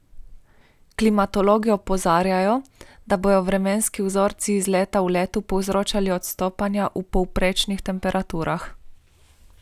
Klimatologi opozarjajo, da bodo vremenski vzorci iz leta v leto povzročali odstopanja v povprečnih temperaturah.